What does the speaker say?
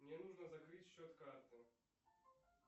мне нужно закрыть счет карты